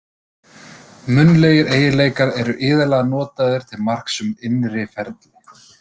Munnlegir eiginleikar eru iðulega notaðir til marks um innri ferli.